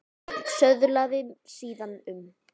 Hreinn söðlaði síðan um.